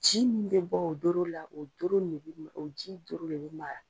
Ji min bɛ b' o o doro la, o doro nin o ji doro de bɛ maya.